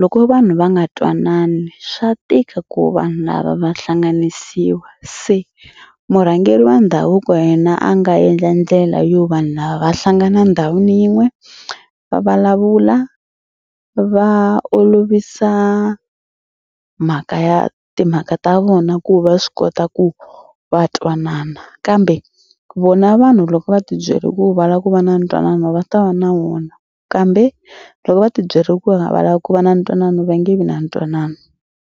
loko vanhu va nga twanani swa tika ku vanhu lava va hlanganisiwa. Se murhangeri wa ndhavuko wa yena a nga endla ndlela yo vanhu lava va hlangana endhawini yin'we va vulavula va olovisa mhaka ya timhaka ta vona ku va swi kota ku va twanana kambe vona vanhu loko va tibyele ku va lava ku va na ntwanano va ta va na wona kambe loko va tibyele ku a va lavi ku va na ntwanano va nge vi na ntwanano.